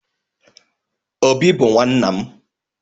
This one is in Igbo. Obi bu nwanna m.